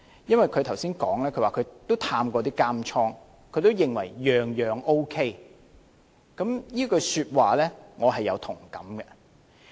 她剛才說她也探訪過監獄，也認為各方面都 OK， 這句說話我也有同感。